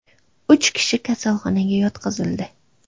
Uch kishi kasalxonaga yotqizildi.